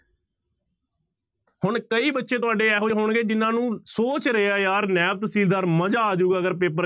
ਹੁਣ ਕਈ ਬੱਚੇ ਤੁਹਾਡੇ ਇਹੋ ਜਿਹੇ ਹੋਣਗੇ ਜਿਹਨਾਂ ਨੂੰ ਸੋਚ ਰਹੇ ਆ ਯਾਰ ਨੈਬ ਤਹਿਸੀਲਦਾਰ ਮਜ਼ਾ ਆ ਜਾਊਗਾ ਅਗਰ ਪੇਪਰ,